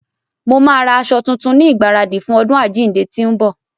Mo máa ra aṣọ tuntun ní ìgbaradì fún ọdún àjíǹde tí ń bọ̀.